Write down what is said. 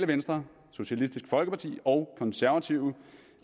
venstre socialistisk folkeparti og konservative